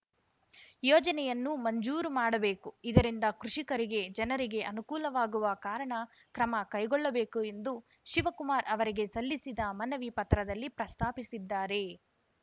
ಯೋಜನೆಯನ್ನು ಮಂಜೂರು ಮಾಡಬೇಕು ಇದರಿಂದ ಕೃಷಿಕರಿಗೆ ಜನರಿಗೆ ಅನುಕೂಲವಾಗುವ ಕಾರಣ ಕ್ರಮ ಕೈಗೊಳ್ಳಬೇಕು ಎಂದು ಶಿವಕುಮಾರ್‌ ಅವರಿಗೆ ಸಲ್ಲಿಸಿದ ಮನವಿ ಪತ್ರದಲ್ಲಿ ಪ್ರಸ್ತಾಪಿಸಿದ್ದಾರೆ